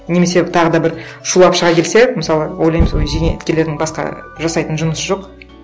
немесе тағы да бір шулап шыға келсе мысалы ойлаймын сол зейнеткерлердің басқа жасайтын жұмысы жоқ